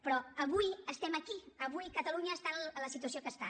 però avui estem aquí avui catalunya està en la situació que està